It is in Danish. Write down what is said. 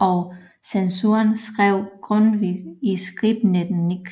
og censuren skrev Grundtvig Skribenten Nik